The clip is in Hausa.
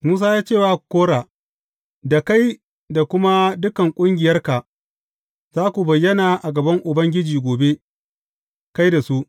Musa ya ce wa Kora, Da kai da kuma dukan ƙungiyarka za ku bayyana a gaban Ubangiji gobe, kai da su.